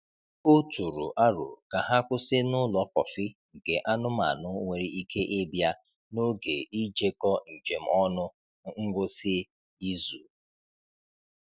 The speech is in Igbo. O tụrụ aro ka ha kwụsị n’ụlọ kọfị nke anụmanụ nwere ike ịbịa n’oge ijekọ njem ọnụ n’ngwụsị izu.